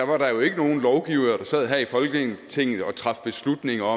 var der jo ikke nogen lovgivere der sad her i folketinget og traf beslutninger